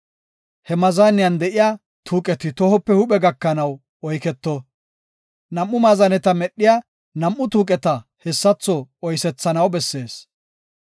He maazaniyan de7iya tuuqeti tohope huuphe gakanaw oyketo. Nam7u maazaneta medhiya nam7u tuuqeta hessatho oosetanaw bessees.